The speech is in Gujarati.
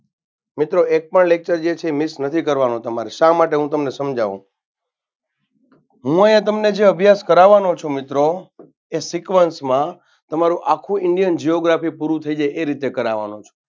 મિત્રો એક પણ lecture જે છે એ miss નથી કરવાનો તમારે શા માટે હું તમને સમજાવુ હું અહિયાં તમને જે અભ્યાસ કરાવાનો છું મિત્રો એ sequance માં તમારૂ આખું indian giography પુરૂ થઇ જાય એ રીતે કરાવાનો છું.